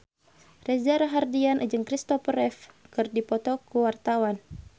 Reza Rahardian jeung Kristopher Reeve keur dipoto ku wartawan